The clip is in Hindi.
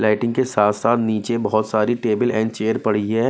लाइटिंग के साथ-साथ नीचे बहुत सारी टेबल एंड चेयर पड़ी है।